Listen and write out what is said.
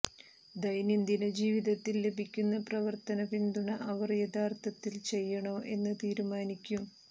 ദൈനംദിന ജീവിതത്തിൽ ലഭിക്കുന്ന പ്രവർത്തന പിന്തുണ അവർ യഥാർത്ഥത്തിൽ ചെയ്യണോ എന്ന് തീരുമാനിക്കും